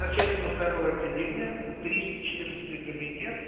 начальнику второго отделения тристо четырнадцатый кабинет